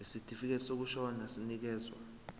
isitifikedi sokushona sinikezwa